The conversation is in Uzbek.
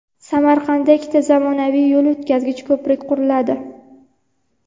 Samarqandda ikkita zamonaviy yo‘l o‘tkazgich ko‘prik quriladi.